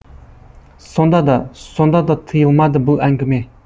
сонда да сонда да тыйылмады бұл әңгіме